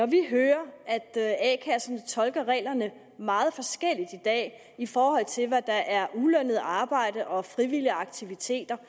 vi hører at a kasserne tolker reglerne meget forskelligt i dag i forhold til hvad der er ulønnet arbejde og frivillige aktiviteter